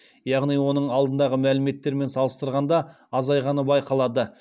яғни оның алдындағы мәліметтермен салыстырғанда азайғаны байқалады